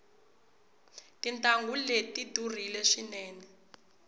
tintangu leti tidurile swinene